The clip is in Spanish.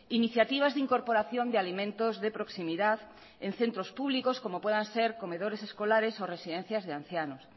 iniciativas de incorporación de alimentos de proximidad en centros públicos como puedan ser comedores escolares o residencias de ancianos